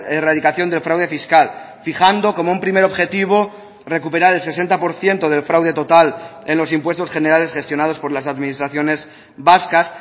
erradicación del fraude fiscal fijando como un primer objetivo recuperar el sesenta por ciento del fraude total en los impuestos generales gestionados por las administraciones vascas